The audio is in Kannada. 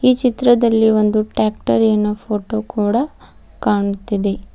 ಚಿತ್ರದಲ್ಲಿ ಒಂದು ಟ್ಯಾಕ್ಟರಿಯನ್ನು ಫೋಟೋ ಕೂಡ ಕಾಣ್ತಿದೆ.